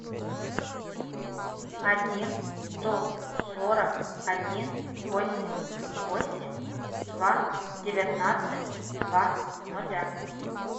один сто сорок один восемь восемь два девятнадцать два ноля